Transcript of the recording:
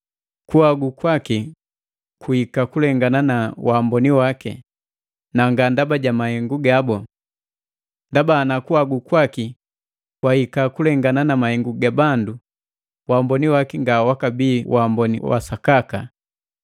Kuhagu kwaki kuhika kulengana na waamboni waki, na nga ndaba ja mahengu gabu. Ndaba, ana kuhagu kwaki kwakahika kulengana na mahengu ga bandu, waamboni waki nga wakabii waamboni wa sakaka.